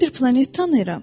Mən bir planet tanıyıram.